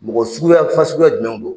Mɔgɔ suguya fasuguya jumɛn do?